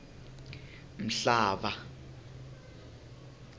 mhlava